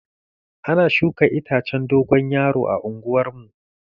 Ana shuka itacen dogon yaro a unguwar mu.